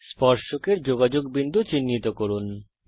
স্পর্শকের যোগাযোগ বিন্দু চিহ্নিত করুন